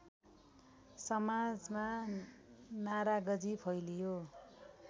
समाजमा नाराजगी फैलियो